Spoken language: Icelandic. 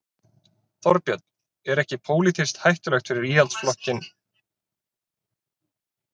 Þorbjörn: Er ekki pólitískt hættulegt fyrir Íhaldsflokkinn að vera í þessu samstarfi?